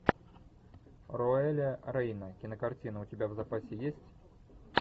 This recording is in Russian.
роэля рейна кинокартина у тебя в запасе есть